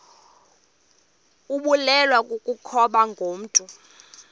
ibulewe kukopha ngokomntu